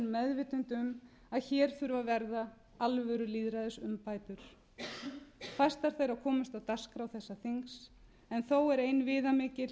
meðvitund um að hér þurfi að verða alvöru lýðræðisumbætur fæstar þeirra komust á dagskrá þessa þings en þó er ein viðamikil